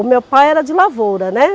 O meu pai era de lavoura, né.